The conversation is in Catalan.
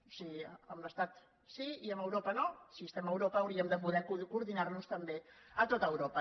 o sigui amb l’estat sí i amb europa no si estem a europa haurí·em de poder coordinar·nos també a tot europa